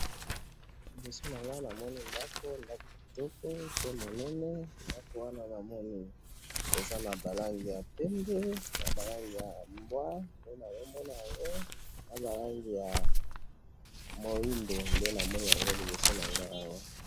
liboso nanga namoni ndaku ndaku kitoko pe ya munene ndaku wana namoni eza naba langi ya pembe naba langi ya mbwa nde nazomona yango naba langi ya mwindu nde nazokomona na liboso nangayi awa.